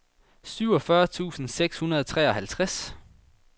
syvogfyrre tusind seks hundrede og treoghalvtreds